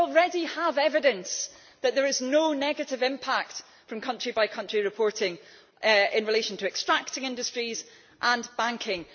We already have evidence that there is no negative impact from country by country reporting in relation to extracting industries and banking.